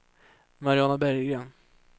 Mariana Berggren